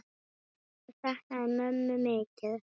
Hann saknaði mömmu mikið.